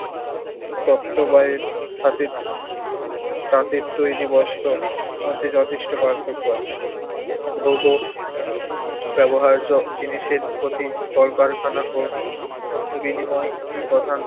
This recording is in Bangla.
তত্ববায়ের হাতে তাঁতের তৈরি বস্ত্র মধ্যে যথেষ্ট পার্থক্য আছে। ভোগ ও ব্যবহার্য জিনিসের প্রতি কলকারখানা ও বিনিময় প্রধান